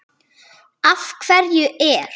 Af hverju er